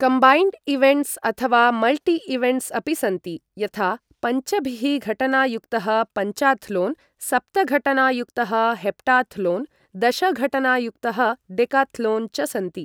Combined events अथवा multi events अपि सन्ति, यथा पञ्चभिः घटना युक्तः पञ्चाथ्लोन्, सप्त घटना युक्तः हेप्टाथ्लोन्, दश घटना युक्तः डेकाथ्लोन् च सन्ति।